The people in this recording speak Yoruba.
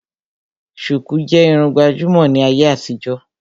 Sùkú jẹ́ Irun gbàjúmọ̀ ní ayé àtijó